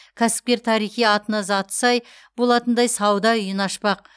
кәсіпкер тарихи атына заты сай болатындай сауда үйін ашпақ